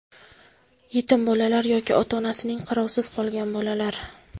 yetim bolalar yoki ota-onasining qarovisiz qolgan bolalar;.